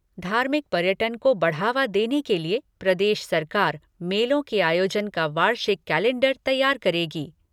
धार्मिक पर्यटन को बढावा के लिए प्रदेश सरकार, मेलों के आयोजन का वार्षिक कलैण्डर तैयार करेगी।